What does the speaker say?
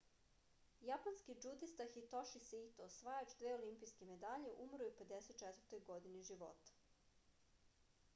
japanski džudista hitoši saito osvajač dve olimpijske medalje umro je u 54. godini života